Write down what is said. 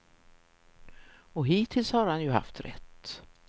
Och hittills har han ju haft rätt.